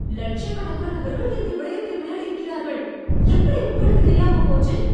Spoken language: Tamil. லட்சக் கணக்கானவர்கள் இந்த விளையாட்டை விளையாடியிருக்கிறார்கள். எப்படி உங்களுக்குத் தெரியாமப் போச்சு?